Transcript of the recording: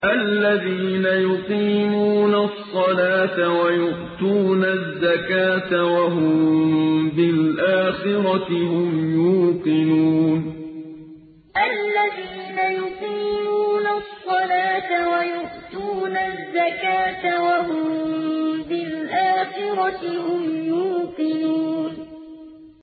الَّذِينَ يُقِيمُونَ الصَّلَاةَ وَيُؤْتُونَ الزَّكَاةَ وَهُم بِالْآخِرَةِ هُمْ يُوقِنُونَ الَّذِينَ يُقِيمُونَ الصَّلَاةَ وَيُؤْتُونَ الزَّكَاةَ وَهُم بِالْآخِرَةِ هُمْ يُوقِنُونَ